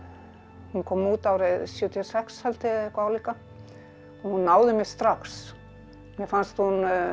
hún kom út árið sjötíu og sex held ég eitthvað álíka hún náði mér strax mér fannst hún